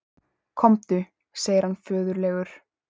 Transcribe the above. Komdu, segir hann föðurlegur.